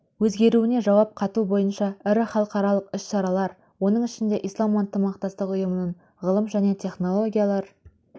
өзгеруіне жауап қату бойынша ірі халықаралық іс-шаралар оның ішінде ислам ынтымақтастық ұйымының ғылым және технологиялар